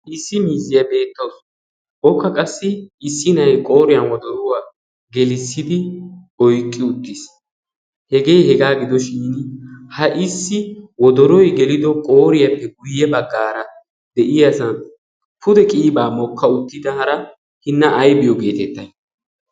issi mizziyaa beettoos. ookka qassi issi na'i qooriyan wodoruwaa gelissidi oiqqi uttiis. hegee hegaa gidoshin ha issi wodoroi gelido qooriyaappe guyye baggaara de'iyasan pude qiyibaa mokka uttida hara hinna aibiyoo geetetta?